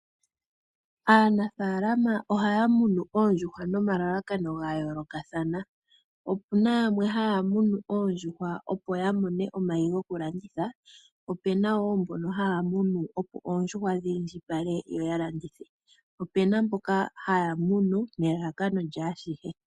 Aanafaalama ohaya munu oondjuhwa nomalalakano ga yoolokathana. Opuna yamwe haya munu oondjuhwa, opo ya mone omayi goku landitha. Opuna wo mbono haya munu opo oondjuhwa dhi indjipale, yo ya landithe, po opuna mboka haya munu nelalakano lyaashihe.